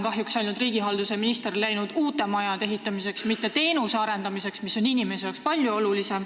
Praegu tegeleb riigihalduse minister kahjuks ainult uute majade ehitamise, mitte teenuste arendamisega, mis on inimeste jaoks palju olulisem.